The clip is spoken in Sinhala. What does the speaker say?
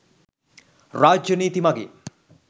රාජ්‍යය නීති මඟින්